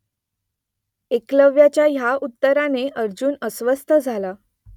एकलव्याच्या ह्या उत्तराने अर्जुन अस्वस्थ झाला